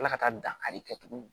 Ala ka taa dankari kɛ tuguni